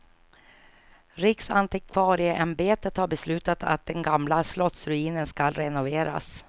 Riksantikvarieämbetet har beslutat att den gamla slottsruinen skall renoveras.